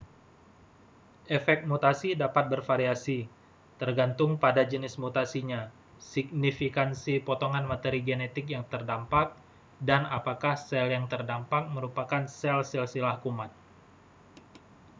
efek mutasi dapat bervariasi tergantung pada jenis mutasinya signifikansi potongan materi genetik yang terdampak dan apakah sel yang terdampak merupakan sel silsilah kuman